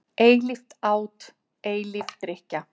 Eilíft át, eilíf drykkja.